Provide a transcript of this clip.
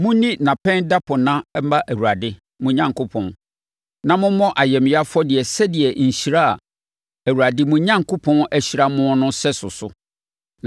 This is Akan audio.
Monni Nnapɛn Dapɔnna ma Awurade, mo Onyankopɔn, na mommɔ ayamyɛ afɔdeɛ sɛdeɛ nhyira a Awurade, mo Onyankopɔn, ahyira mo no sɛso so.